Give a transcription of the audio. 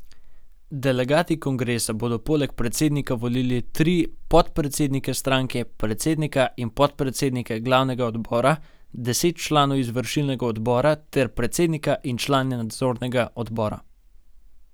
Delegati kongresa bodo poleg predsednika volili tudi tri podpredsednike stranke, predsednika in podpredsednike glavnega odbora, deset članov izvršilnega odbora ter predsednika in člane nadzornega odbora.